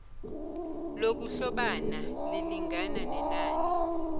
lokuhlobana lilingana nenani